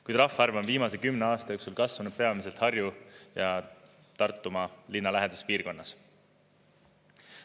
Kuid rahvaarv on viimase 10 aasta jooksul kasvanud peamiselt Harju- ja Tartumaa linnalähedases piirkonnas.